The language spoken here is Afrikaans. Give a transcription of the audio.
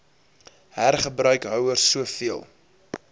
hergebruik houers soveel